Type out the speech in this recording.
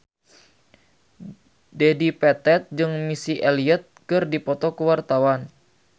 Dedi Petet jeung Missy Elliott keur dipoto ku wartawan